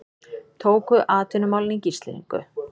Tóku atvinnumálin í gíslingu